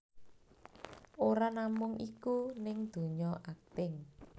Ora namung iku ning dunya akting